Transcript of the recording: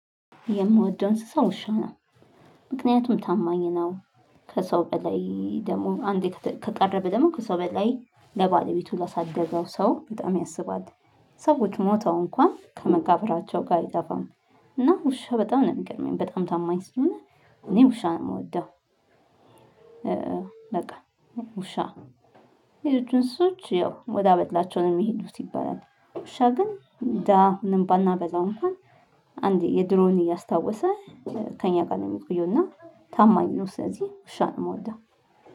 የምወደው እንስሳ ውሻ ነው። ምክንያቱም ታማኝ ነው። ከሰው በላይ ደግሞ አንዴ ከቀረበ ደግሞ ከሰው በላይ ለባለቤቱ ላሳደገው ሰው በጣም ያስባል። ሰዎች ሞተው እንኳን ከመቃብራቸው ጋር አይጠፋም። እና ውሻ በጣም ነው የሚገርመኝ በጣም ታማኝ ስለሆነ እኔ ውሻ ነው የምወደው። በቃ ውሻ የሌሎቹን ሰዎች ያው ወደ አበላቸው ነው የሚሄዱት ይባላል። ውሻ ግን እንደ አሁንም ባናበላው እንኳን አንዴ የድሮውን እያስታወሰ ከእኛ ጋር ነው የሚቆየው። እና ታማኝ ነው ስለዚህ ውሻ ነው የምወደው